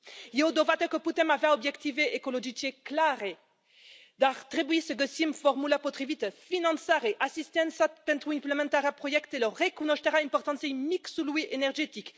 E o dovadă că putem avea obiective ecologice clare, dar trebuie să găsim formula potrivită finanțare, asistență pentru implementarea proiectelor, recunoașterea importanței mixului energetic.